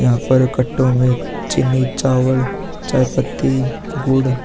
यहां पर कट्टो में चिन्नी चावल चाय-पत्ती गुड़ --